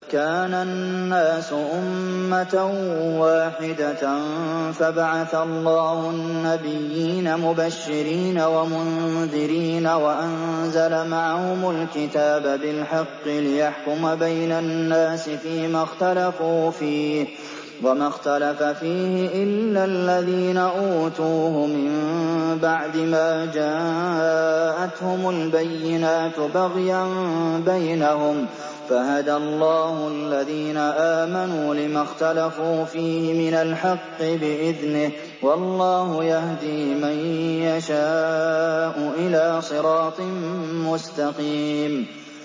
كَانَ النَّاسُ أُمَّةً وَاحِدَةً فَبَعَثَ اللَّهُ النَّبِيِّينَ مُبَشِّرِينَ وَمُنذِرِينَ وَأَنزَلَ مَعَهُمُ الْكِتَابَ بِالْحَقِّ لِيَحْكُمَ بَيْنَ النَّاسِ فِيمَا اخْتَلَفُوا فِيهِ ۚ وَمَا اخْتَلَفَ فِيهِ إِلَّا الَّذِينَ أُوتُوهُ مِن بَعْدِ مَا جَاءَتْهُمُ الْبَيِّنَاتُ بَغْيًا بَيْنَهُمْ ۖ فَهَدَى اللَّهُ الَّذِينَ آمَنُوا لِمَا اخْتَلَفُوا فِيهِ مِنَ الْحَقِّ بِإِذْنِهِ ۗ وَاللَّهُ يَهْدِي مَن يَشَاءُ إِلَىٰ صِرَاطٍ مُّسْتَقِيمٍ